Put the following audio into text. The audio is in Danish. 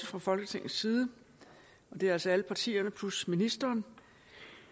fra folketingets side og det er altså alle partierne plus ministeren